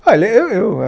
Olha eu eu